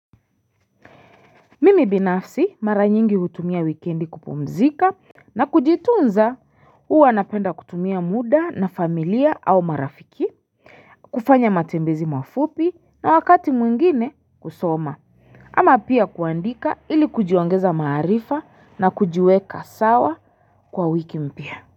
Mimi binafsi mara nyingi hutumia wikendi kupumzika na kujitunza huwa napenda kutumia muda na familia au marafiki kufanya matembezi mafupi na wakati mwingine kusoma ama pia kuandika ili kujiongeza maarifa na kujiweka sawa kwa wiki mpia.